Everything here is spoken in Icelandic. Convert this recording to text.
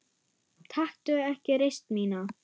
Taktu ekki reisn mína.